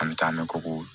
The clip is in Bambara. An bɛ taa an bɛ kogo